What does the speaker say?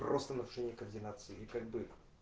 просто нарушение координации и как бы